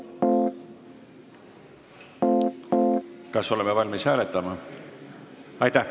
Kas oleme valmis hääletama?